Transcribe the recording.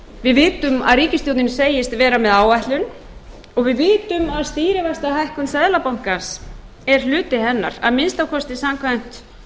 við vitum að ríkisstjórnin segist vera með áætlun og við vitum að stýrivaxtahækkun seðlabankans er hluti hennar að minnsta kosti samkvæmt